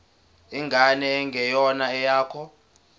ingane engeyona eyakho